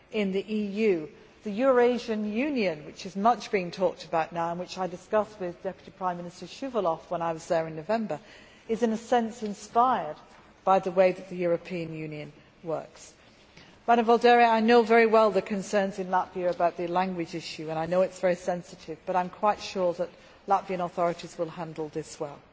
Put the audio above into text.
The Eurasian Union, which is much talked about now and which I discussed with Deputy Prime Minister Shuvalov when I was there in November, is in a sense inspired by the way that the European Union works. Ms Vaidere, I know very well the concerns in Latvia about the language issue and I know that it is very sensitive, but I am quite sure that the Latvian authorities will handle this well.